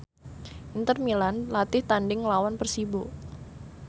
Inter Milan latih tandhing nglawan Persibo